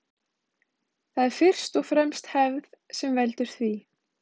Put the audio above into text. Það er fyrst og fremst hefð sem veldur því.